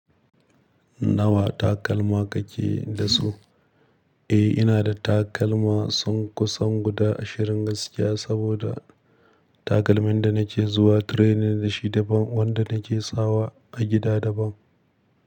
Nawa takalma kake da su? Eh, ina da takalma sunƙusan guda ashirin gaskiya, saboda takalmin da nake zuwa training da shi daban, wanda nake sawa a gida daban.